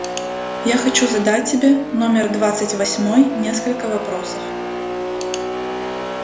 я хочу задать тебе номер двадцать восьмой несколько вопросов